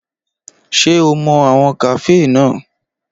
Ṣé o mọ àwọn kàféè náà?